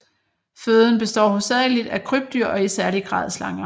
Føden består hovedsageligt af krybdyr og i særlig grad slanger